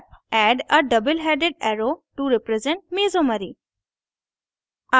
add a double headed arrow to represent mesomery